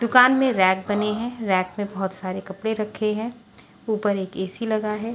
दुकान में रैक बने हैं रैक में बहुत सारे कपड़े रखे हैं ऊपर एक ए_सी लगा है।